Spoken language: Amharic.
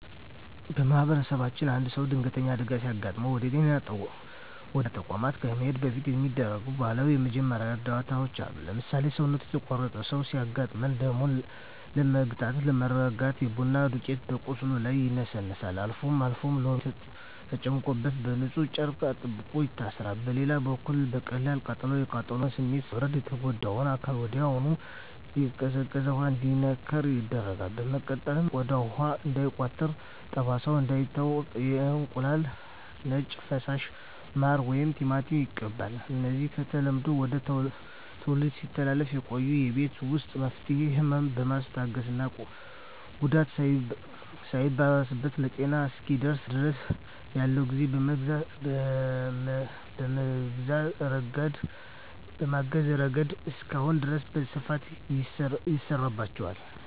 በማኅበረሰባችን አንድ ሰው ድንገተኛ አደጋ ሲገጥመው ወደ ጤና ተቋም ከመሄዱ በፊት የሚደረጉ ባህላዊ የመጀመሪያ እርዳታዎች አሉ። ለምሳሌ፣ ሰውነቱ የተቆረጠ ሰው ሲያጋጥም ደሙን ለመግታትና ለማርጋት የቡና ዱቄት በቁስሉ ላይ ይነሰነሳል፤ አልፎ አልፎም ሎሚ ተጨምቆበት በንፁህ ጨርቅ አጥብቆ ይታሰራል። በሌላ በኩል ለቀላል ቃጠሎ፣ የቃጠሎውን ስሜት ለማብረድ የተጎዳው አካል ወዲያውኑ በቀዝቃዛ ውሃ እንዲነከር ይደረጋል። በመቀጠልም ቆዳው ውሃ እንዳይቋጥርና ጠባሳ እንዳይተው የእንቁላል ነጭ ፈሳሽ፣ ማር ወይም ቲማቲም ይቀባል። እነዚህ ከትውልድ ወደ ትውልድ ሲተላለፉ የቆዩ የቤት ውስጥ መፍትሄዎች፣ ህመምን በማስታገስና ጉዳቱ ሳይባባስ ለሐኪም እስኪደርሱ ድረስ ያለውን ጊዜ በመግዛት ረገድ እስካሁን ድረስ በስፋት ይሠራባቸዋል።